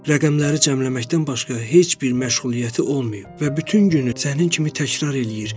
Rəqəmləri cəmləməkdən başqa heç bir məşğuliyyəti olmayıb və bütün günü sənin kimi təkrar eləyir.